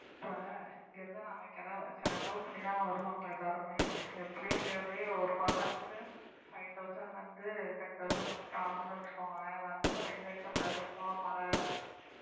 இப்ப இங்க இருந்து நாங்க கிள~ செலவு பண்ணிதான் வருவாங்க எல்லாருமே எப்படியும் nearly ஒரு person க்கு five thousand ல இருந்து ten thousand வரைக்கும் ஆகும்ன்னு வச்சுக்கோங்களேன் வந்துட்டு நம்ம enjoy பண்ணலா சும்மா மழை